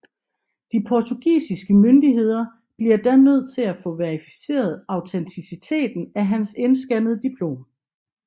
De portugisiske myndigheder bliver da nødt til at få verificeret autenticiteten af hans indskannede diplom